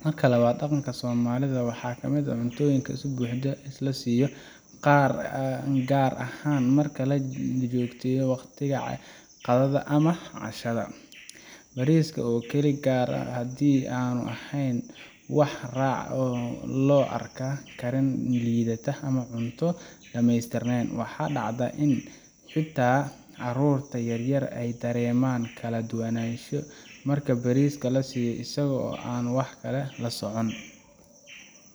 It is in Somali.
mida labaad daqanka somalida waxaa kamid ah cuntooyinka si buuxda loo siiyo gaar ahaan marka lajogteeyo uwaqtiyah qadada ama cashad, bariiska oo kaligiis gaar hadii aan leheen wax raac loo arka karin liidata.